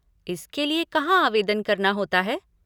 इसके लिए कहाँ आवेदन करना होता है?